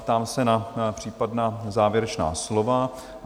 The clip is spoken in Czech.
Ptám se na případná závěrečná slova?